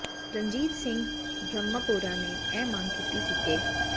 ਰਣਜੀਤ ਸਿੰਘ ਬ੍ਰਹਮਪੁਰਾ ਨੇ ਇਹ ਮੰਗ ਕੀਤੀ ਸੀ ਕਿ ਸ